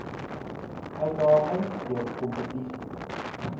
uitdagings deur kompetisie